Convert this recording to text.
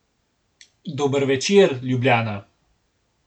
Dober večer, Ljubljana!